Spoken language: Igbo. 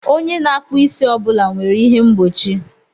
Onye na-akpụ isi ọ bụla nwere ihe mgbochi.